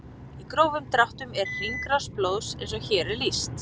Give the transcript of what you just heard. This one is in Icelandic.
Í grófum dráttum er hringrás blóðs eins og hér er lýst.